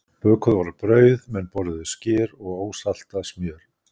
Bökuð voru brauð, menn borðuðu skyr og ósaltað smjör.